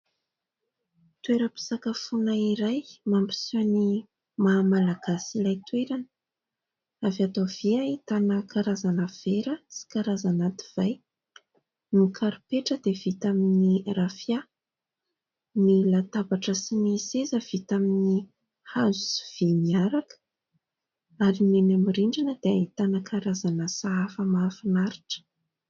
Toeram-pisakafoana iray, mampiseho ny maha Malagasy ilay toerana. Avy ato havia ahitana karazana vera sy karazana divay, no karipetra dia vita amin'ny rafia ny latabatra sy ny seza vita amin'ny hazo sy vy miaraka; ary ny eny amin'ny rindrina dia ahitana karazana sahafa mahafinaritra.